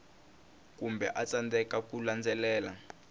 kumbe a tsandzeka ku landzelela